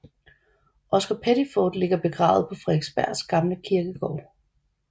Oscar Pettiford ligger begravet på Frederiksberg gamle kirkegård